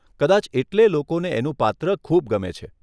કદાચ એટલે લોકોને એનું પાત્ર ખૂબ ગમે છે.